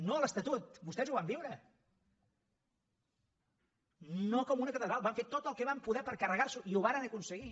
no a l’estatut vostès ho van viure no com una catedral van fer tot el que van poder per carregar s’ho i ho varen aconseguir